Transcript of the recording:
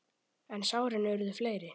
En sárin urðu fleiri.